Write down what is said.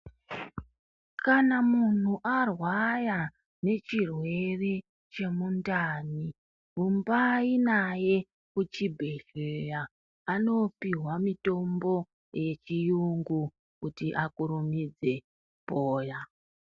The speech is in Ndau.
Kana muntu arwaya nechirwere chemundani rumbai naye kuchibhedhleya. Anopihwa mitombo yechiyungu kuti akurumidze kupoya.